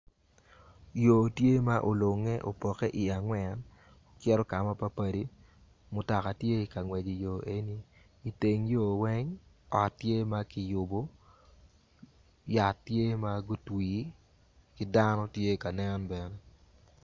Yo tye ma olunge opoke i angwen cito kama papadi mutoka tye ikangwec i yo eni i teng yo weng ot tye makiyubo yat tye magutwi ki dano tye kanen bene.